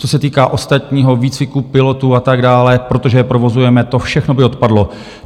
Co se týká ostatního výcviku pilotů a tak dále, protože je provozujeme, to všechno by odpadlo.